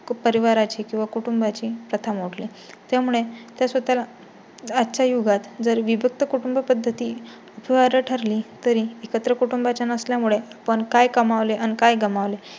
परिवारा ची किंवा कुटुंबा जी प्रथा मोडली. त्यामुळे त्या स्वतः आजच्या युगात जर विभक्त कुटुंब पद्धती ठरली तरी एकत्र कुटुंबा चा नसल्या मुळे पण काय कमावले आणि काय गमावले